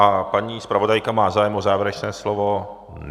A paní zpravodajka, má zájem o závěrečné slovo?